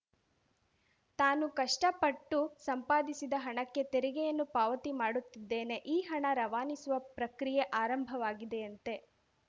ತಾನು ಕಷ್ಟಪಟ್ಟು ಸಂಪಾದಿಸಿದ ಹಣಕ್ಕೆ ತೆರಿಗೆಯನ್ನು ಪಾವತಿ ಮಾಡುತ್ತಿದ್ದೇನೆ ಈ ಹಣ ರವಾನಿಸುವ ಪ್ರಕ್ರಿಯೆ ಆರಂಭವಾಗಿದೆಯಂತೆ